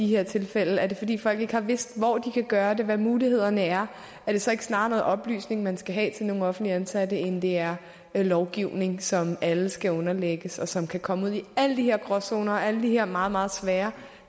her tilfælde er det fordi folk ikke har vidst hvor de kan gøre det hvad mulighederne er er det så ikke snarere noget oplysning man skal have til nogle offentligt ansatte end det er lovgivning som alle skal underlægges og som kan komme ud i alle de her gråzoner og alle de her meget meget svære